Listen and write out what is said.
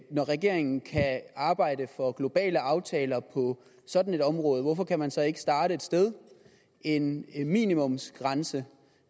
regeringen kan arbejde for globale aftaler på sådan et område hvorfor kan man så ikke starte et sted en minimumsgrænse